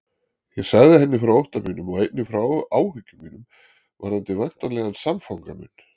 Ég sagði henni frá ótta mínum og einnig frá áhyggjum mínum varðandi væntanlegan samfanga minn.